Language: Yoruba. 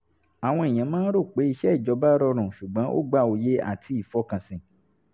àwọn èèyàn máa ń rò pé iṣẹ́ ìjọba rọrùn ṣùgbọ́n ó gba òye àti ìfọkànsìn